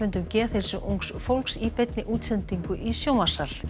um geðheilsu ungs fólks í beinni útsendingu í sjónvarpssal